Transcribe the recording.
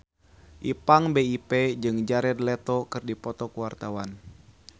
Ipank BIP jeung Jared Leto keur dipoto ku wartawan